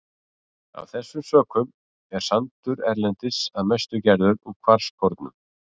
Af þessum sökum er sandur erlendis að mestu gerður úr kvarskornum.